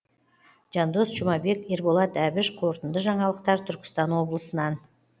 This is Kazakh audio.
жандос жұмабек ерболат әбіш қорытынды жаңалықтар түркістан облысынан